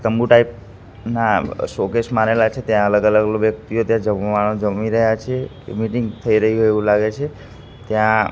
તંબુ ટાઈપ ના શોકેસ મારેલા છે ત્યાં અલગ અલગ વ્યક્તિઓ ત્યાં જમવાનુ જમી રહ્યા છે મિટિંગ થઇ રહી હોઇ એવુ લાગે છે ત્યાં--